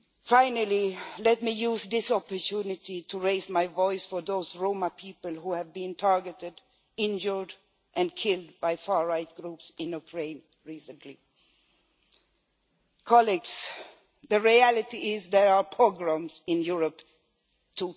Finally, let me use this opportunity to raise my voice for those Roma people who have been targeted, injured or killed by far right groups in Ukraine recently. Colleagues, the reality is that there are pogroms in Europe in